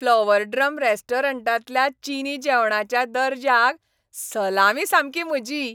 Flower drum रेस्टॉरंटांतल्या चिनी जेवणाच्या दर्जाक सलामी सामकी म्हजी!